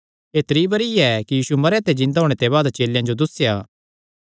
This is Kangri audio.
एह़ त्री बरी ऐ कि यीशु मरेयां ते जिन्दा होणे दे बाद चेलेयां जो दुस्सेया